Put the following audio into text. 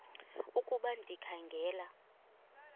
ukuba ndikha ngela